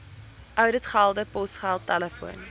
ouditgelde posgeld telefoon